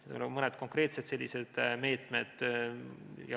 Seal on mõned konkreetsed meetmed.